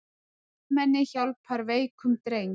Vélmenni hjálpar veikum dreng